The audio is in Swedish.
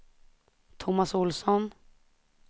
Tomas Olsson